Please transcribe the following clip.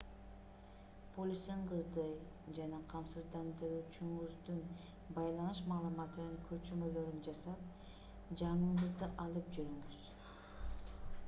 полисиңизди жана камсыздандыруучуңуздун байланыш маалыматынын көчүрмөлөрүн жасап жаныңызда алып жүрүңүз